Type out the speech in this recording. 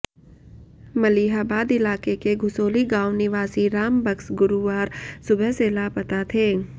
मलिहाबाद इलाके के घुसोली गांव निवासी राम बक्स गुरुवार सुबह से लापता थे